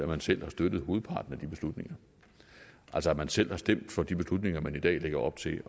man selv har støttet hovedparten af de beslutninger altså at man selv har stemt for de beslutninger man i dag lægger op til